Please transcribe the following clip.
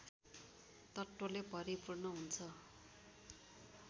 तत्त्वले भरिपूर्ण हुन्छ